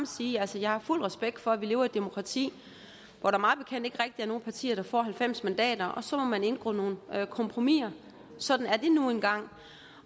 sige at jeg har fuld respekt for at vi lever i et demokrati hvor der mig bekendt ikke rigtig er nogen partier der får halvfems mandater og så må man indgå nogle kompromiser sådan er det nu engang